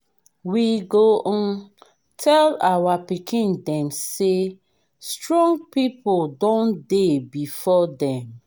we go um tell our pikin dem say strong people don dey before dem.